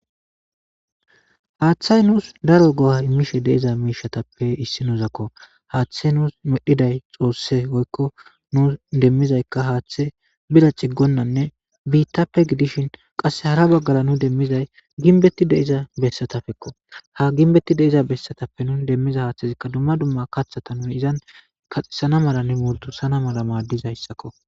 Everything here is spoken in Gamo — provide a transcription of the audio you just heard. haaththay nuus daro go7a imishe deiza miishatappe issi nuuzakko haaththa nuus medhiday xoosse oykko nu demmizaykka haaththe bira ciggonnanne biittappe gidishin qasse hara baggara nu demmizay ginbetti deiza bessatappekko ha ginbetti deiza bessatappe nun demmiza haaththezikka dumma dumma kaththata nuni izan kaxesana mala ne murdu sana mala maaddizayssakko